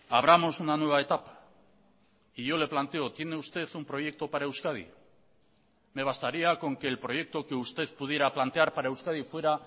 abramos una nueva etapa y yo le planteo tiene usted un proyecto para euskadi me bastaría con que el proyecto que usted pudiera plantear para euskadi fuera